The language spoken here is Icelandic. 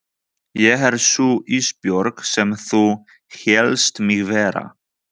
Ég er sú Ísbjörg sem þú hélst mig vera.